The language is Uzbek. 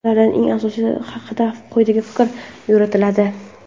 Ulardan eng asosiylari haqida quyida fikr yuritiladi.